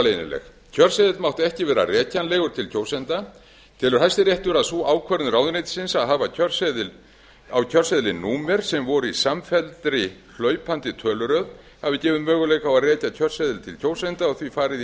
leynileg kjörseðill mátti ekki vera rekjanlegur til kjósenda telur hæstiréttur að sú ákvörðun ráðuneytisins að hafa á kjörseðli númer sem voru í samfelldri hlaupandi töluröð hafi gefið möguleika á að rekja kjörseðil til kjósenda og því farið í